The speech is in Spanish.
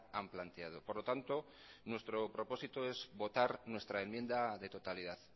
han planteado por lo tanto nuestro propósito es votar nuestra enmienda de totalidad